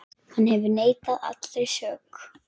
Hann hefur neitað allri sök.